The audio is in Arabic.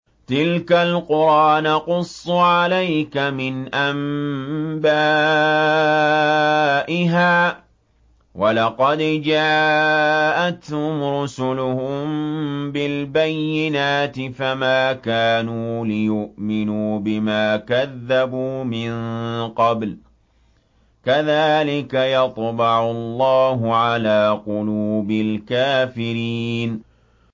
تِلْكَ الْقُرَىٰ نَقُصُّ عَلَيْكَ مِنْ أَنبَائِهَا ۚ وَلَقَدْ جَاءَتْهُمْ رُسُلُهُم بِالْبَيِّنَاتِ فَمَا كَانُوا لِيُؤْمِنُوا بِمَا كَذَّبُوا مِن قَبْلُ ۚ كَذَٰلِكَ يَطْبَعُ اللَّهُ عَلَىٰ قُلُوبِ الْكَافِرِينَ